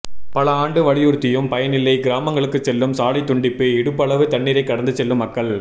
பல ஆண்டு வலியுறுத்தியும் பயனில்லை கிராமங்களுக்கு செல்லும் சாலை துண்டிப்பு இடுப்பளவு தண்ணீரை கடந்து செல்லும் மக்கள்